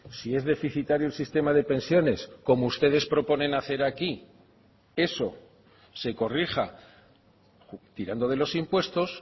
si es deficitario el sistema de pensiones como ustedes proponen hacer aquí eso se corrija tirando de los impuestos